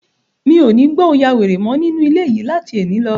Mi ò ní gbọ́ 'o ya wèrè' mọ́ nínú ilé yìí láti ẹni lọ.